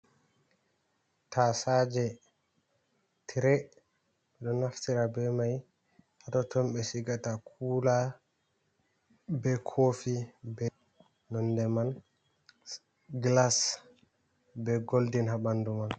Tasaje tire ɗo naftira be mai ha totton on be sigata kula, be kofi, be nonde man glas be goldin ha bandu man.